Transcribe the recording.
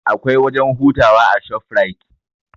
Akwai wajen hutawa a shofrait